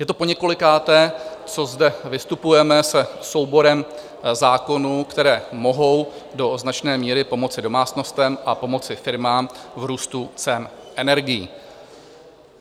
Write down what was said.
Je to poněkolikáté, co zde vystupujeme se souborem zákonů, které mohou do značné míry pomoci domácnostem a pomoci firmám v růstu cen energií.